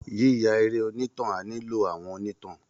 Yíya eré onítàn á nílò àwọn onítàn